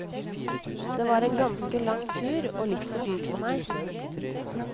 Det var en ganske lang tur, og litt for dyrt for meg.